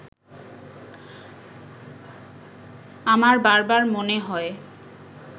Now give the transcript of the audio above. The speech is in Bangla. আমার বারবার মনে হয়